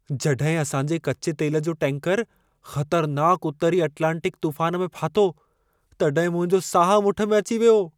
जॾहिं असां जे कच्चे तेल जो टैंकरु ख़तरनाक उत्तरी अटलांटिक तूफ़ान में फाथो, तॾहिं मुंहिंजो साहु मुठि में अची वियो।